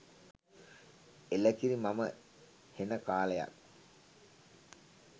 එලකිරි මම හෙන කාලයක්